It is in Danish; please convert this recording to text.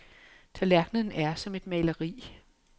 Tallerkenen er som et maleri.